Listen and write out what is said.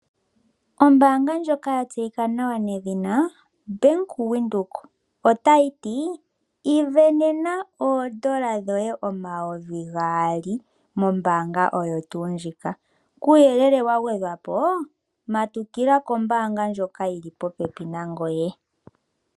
Ombanga ndjoka yaVenduka otayi ti isindanena oondola dhoye omayovi gaali mombaanga oyo tuu ndjika kuuyelele wagwedhwapo matukila kombaanga ndjika yili popepi nangoye.